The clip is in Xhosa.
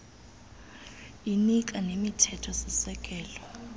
inika nemithetho sisekelo